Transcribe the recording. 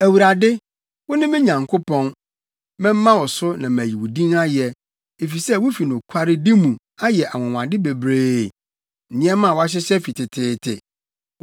Awurade, wo ne me Nyankopɔn; mɛma wo so na mayi wo din ayɛ, efisɛ wufi nokwaredi mu, ayɛ anwonwade bebree, nneɛma a wɔahyehyɛ fi teteete.